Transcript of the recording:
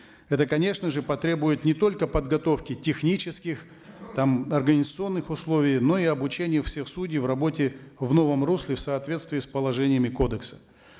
это конечно же потребует не только подготовки технических там организационных условий но и обучение всех судей в работе в новом русле в соответствии с положениями кодекса